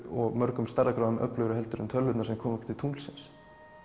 og mörgum stærðargráðum öflugri heldur en tölvurnar sem komu okkur til tunglsins